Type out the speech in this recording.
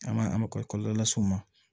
An ma an ma kɔlɔlɔ las'u ma